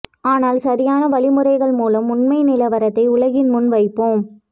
ஆனால் சரியான வழிமுறைகள் மூலம் உண்மை நிலவரத்தை உலகின் முன் வைப்போம்